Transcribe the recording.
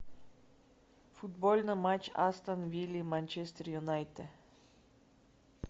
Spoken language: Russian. футбольный матч астон вилла манчестер юнайтед